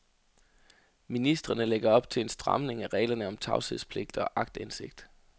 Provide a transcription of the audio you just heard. Ministrene lægger op til en stramning af reglerne om tavshedspligt og aktindsigt.